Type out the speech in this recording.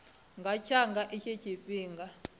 nga tsa nga itshi tshifhinga